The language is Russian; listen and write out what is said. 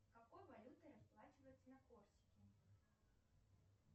какой валютой расплачиваются на корсике